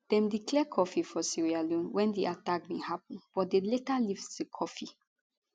dem declare curfew for sierra leone wen di attack bin happun but dem later lift di curfew